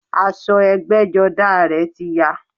Aṣọ ẹgbẹ́jọdá a rẹ̀ ti ya